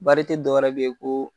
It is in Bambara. dɔw wɛrɛ bɛ yen ko.